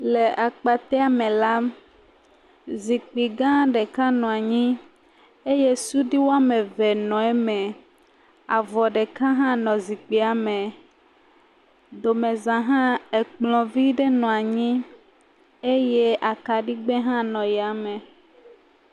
Le akpatea me la, zikpui gã ɖeka nɔ anyi eye sudui woame eve nɔ eme, avɔ ɖeka hã nɔ zikpuie me. Domeza hã, ekplɔvi nɔ anyi eye akaɖigbe hã nɔ yame.